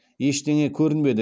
ештеңе көрінбеді